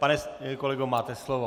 Pane kolego, máte slovo.